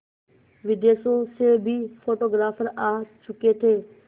विदेशों से भी फोटोग्राफर आ चुके थे